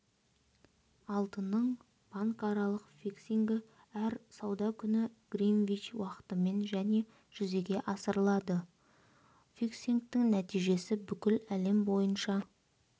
алтынның банкаралық фиксингі әр сауда күні гринвич уақытымен және жүзеге асырылады фиксингтің нәтижесі бүкіл әлем бойынша